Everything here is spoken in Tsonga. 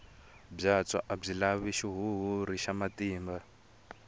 byatso a byi lavi xihuhuri xa matimba